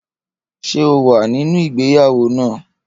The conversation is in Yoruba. Ṣé o wà nínú ìgbéyàwó náà?